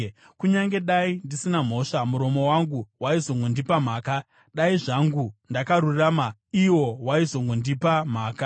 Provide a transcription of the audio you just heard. Kunyange dai ndisina mhosva, muromo wangu waizongondipa mhaka; dai zvangu ndakarurama, iwo waizongondipa mhaka.